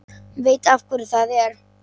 Hann veit af hverju það er.